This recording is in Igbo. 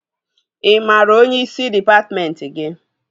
Ị maara onyeisi dịpatmentị gị?